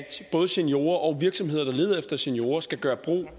både seniorer og virksomheder der leder efter seniorer skal gøre brug